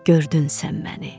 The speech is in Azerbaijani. Gördün sən məni.